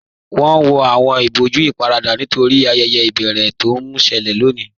Wọn wọ awọn ìbọ̀jú íparadà nítorí ayẹyẹ ibẹ̀rẹ̀ tó n ṣẹlẹ̀ lọ́ní